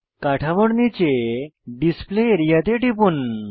কাঠামোর নীচে display area তে টিপুন